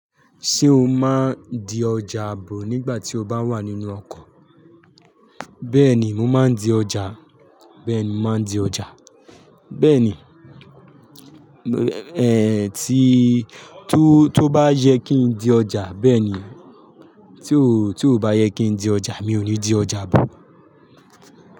Ṣé o máa ń di ọjà ààbò nígbà tí o bá wà nínú ọkọ̀? Bẹ́ẹ̀ni, mo máa ń di ọjà. Bẹ́ẹ̀ni, mo máa ń di ọjà. Bẹ́ẹ̀ni, eh tí, tó bá yẹ kí n di ọjà bẹ́ẹ̀ ni. Tí ó, tí ò bá yẹ kí n di ọjà mi ò ní di ọjà àabò.